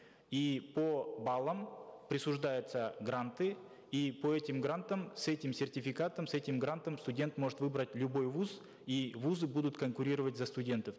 и по баллам присуждаются гранты и по этим грантам с этим сертификатом с этим грантом студент может выбрать любой вуз и вузы будут конкурировать за студентов